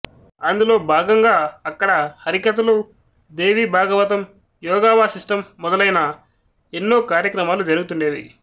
అందులో భాగంగా అక్కడ హరికథలు దేవీ భాగవతం యోగావాశిష్టం మొదలైన ఎన్నో కార్యక్రమాలు జరుగుతుండేవి